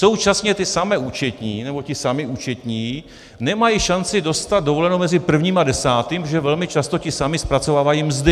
Současně ty samé účetní nebo ti samí účetní nemají šanci dostat dovolenou mezi prvním a desátým, protože velmi často ti samí zpracovávají mzdy.